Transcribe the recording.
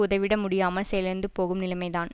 உதவிட முடியாமல் செயலிழந்து போகும் நிலைமைதான்